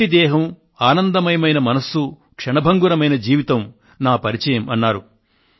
మట్టి దేహం ఆనందమయమైన మనస్సు క్షణభంగురమైన జీవితం నా పరిచయం అన్నారు